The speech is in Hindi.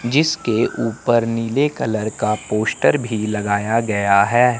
जिसके ऊपर नीले कलर का पोस्टर भी लगाया गया है।